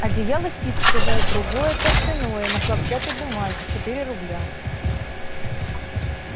одеяло ситцевое другое тафтяное на хлопчатой бумаге четыре рубля